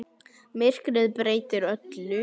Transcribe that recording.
Myrkrið breytir öllu.